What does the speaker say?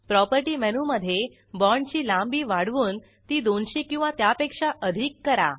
property मेनूमधे बाँडची लांबी वाढवून ती 200 किंवा त्यापेक्षा अधिक करा